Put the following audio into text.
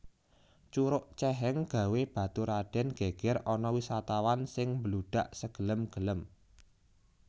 Curug ceheng gawé baturaden geger ana wisatawan sing mbludak segelem gelem